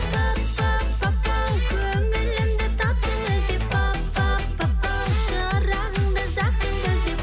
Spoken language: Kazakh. пап пап папау көңілімді таптың іздеп пап пап папау шырағымды жақтың іздеп